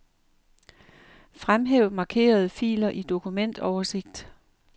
Fremhæv markerede filer i dokumentoversigt.